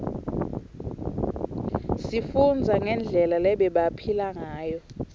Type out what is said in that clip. sifundza ngendlela lebebaphila ngayo